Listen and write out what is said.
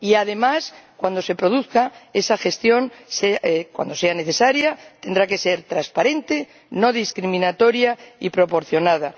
y, además, cuando se produzca esa gestión —cuando sea necesaria—, tendrá que ser transparente, no discriminatoria y proporcionada.